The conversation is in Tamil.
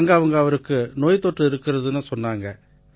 அங்க அவங்க அவருக்கு நோய் தொற்று இருக்கறதா சொன்னாங்க